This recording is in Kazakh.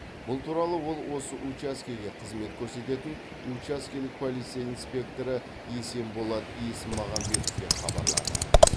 бұл туралы ол осы учаскеге қызмет көрсететін учаскелік полиция инспекторы есенболат есмағамбетовке хабарлады